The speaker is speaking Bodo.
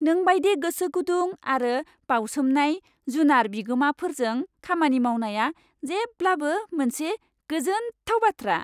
नों बायदि गोसोगुदुं आरो बावसोमनाय जुनार बिगोमाफोरजों खामानि मावनाया जेब्लाबो मोनसे गोजोनथाव बाथ्रा।